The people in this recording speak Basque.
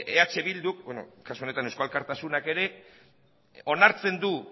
eh bilduk kasu honetan eusko alkartasunak ere onartzen du